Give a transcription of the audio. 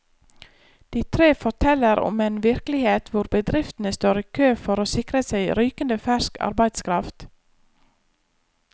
De tre forteller om en virkelighet hvor bedriftene står i kø for å sikre seg rykende fersk arbeidskraft.